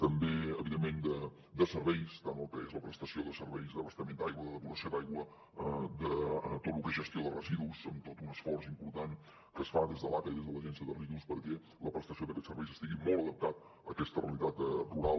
també evidentment de serveis tant el que és la prestació de serveis d’abastament d’aigua de depuració d’aigua de tot lo que és gestió de residus amb tot un esforç important que es fa des de l’aca i des de l’agència de residus perquè la prestació d’aquests serveis estigui molt adaptada a aquesta realitat rural